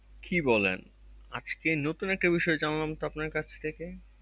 কি বলেন আজকে নতুন একটা বিষয় জানলাম তো আপনার কাছ থেকে